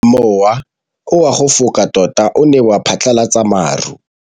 Mowa o wa go foka tota o ne wa phatlalatsa maru.